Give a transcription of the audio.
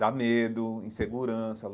Dá medo, insegurança.